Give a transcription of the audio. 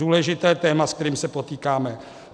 Důležité téma, s kterým se potýkáme.